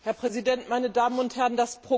Herr Präsident, meine Damen und Herren!